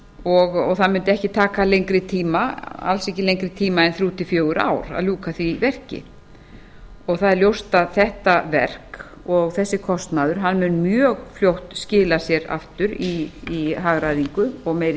og það mundi ekki taka lengri tíma alls ekki lengri tíma en þrjú til fjögur ár að ljúka því verki það er ljóst að þetta verk og þessi kostnaður mun mjög fljótt skila sér aftur í hagræðingu og meiri